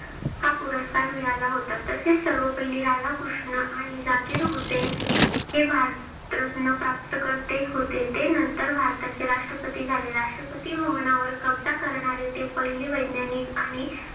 हा पुरस्कार मिळाला होता. तसेच सर्वपल्ली राधाकृष्ण आणि जाकीर हुसेन हे भारतरत्न प्राप्तकर्ते होते. ते नंतर भारताचे राष्ट्रपती झाले. राष्ट्रपती भवनावर कब्जा करणारे ते पहिले वैज्ञानिक आणि